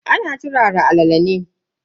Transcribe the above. Ana turara alala ne.